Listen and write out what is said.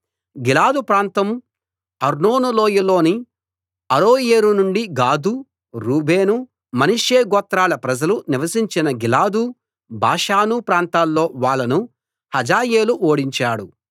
గిలాదు ప్రాంతం అర్నోను లోయలోని అరోయేరు నుండి గాదు రూబేను మనష్షె గోత్రాల ప్రజలు నివసించిన గిలాదు బాషాను ప్రాంతాల్లో వాళ్ళను హజాయేలు ఓడించాడు